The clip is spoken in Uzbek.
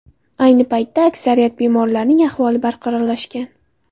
Ayni paytda aksariyat bemorlarning ahvoli barqarorlashgan.